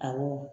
Awɔ